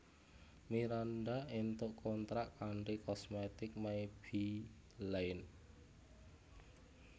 Miranda entuk kontrak kanthi kosmetik Maybelline